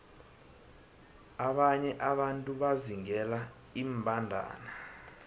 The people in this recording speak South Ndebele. abanye abantu bazingela iimbandana